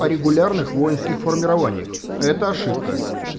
регулярных воинских формированиях это ошибка